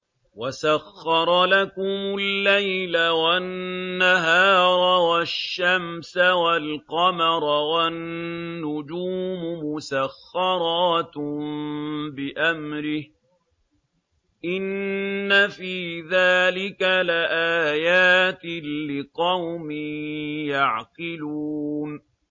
وَسَخَّرَ لَكُمُ اللَّيْلَ وَالنَّهَارَ وَالشَّمْسَ وَالْقَمَرَ ۖ وَالنُّجُومُ مُسَخَّرَاتٌ بِأَمْرِهِ ۗ إِنَّ فِي ذَٰلِكَ لَآيَاتٍ لِّقَوْمٍ يَعْقِلُونَ